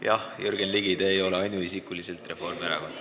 Jah, Jürgen Ligi, te ei ole ainuisikuliselt Reformierakond.